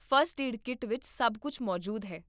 first aid kit ਵਿੱਚ ਸਭ ਕੁੱਝ ਮੌਜੂਦ ਹੈ